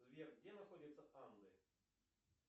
сбер где находятся анды